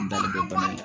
N bali bɛ bɔ yen